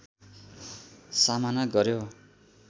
सामना गर्‍यो